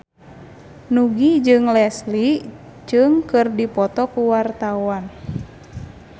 Nugie jeung Leslie Cheung keur dipoto ku wartawan